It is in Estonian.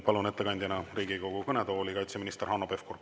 Palun ettekandjaks Riigikogu kõnetooli kaitseminister Hanno Pevkuri.